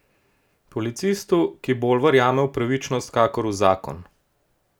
Policistu, ki bolj verjame v pravičnost kakor v zakon.